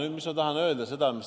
Aga mida ma tahan öelda?